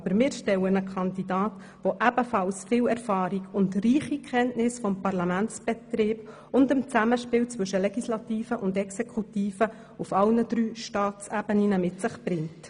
Aber mit Bruno Vanoni stellen wir einen Kandidaten, der ebenfalls viel Erfahrung und reiche Kenntnis des Parlamentsbetriebs und des Zusammenspiels zwischen Legislative und Exekutive auf allen drei Staatsebenen mit sich bringt.